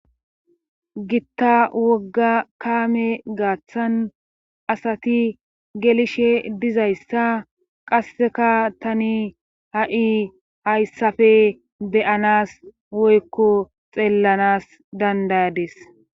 gitta wogga kaame gaaththan asati gelishe dizayssa qasseka tani ha7i hayssafe deyanas woykko xeellanas dandayades